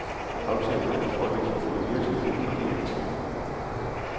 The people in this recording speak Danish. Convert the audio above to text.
Aftalen var en fordel for både virksomheden og de ansatte.